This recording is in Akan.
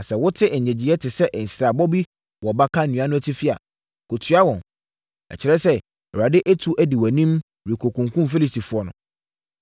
Na sɛ wote nnyegyeeɛ te sɛ nsrabɔ bi wɔ baka nnua no atifi a, kɔtua wɔn! Ɛkyerɛ sɛ, Awurade atu di wʼanim rekɔkunkum Filistifoɔ no.”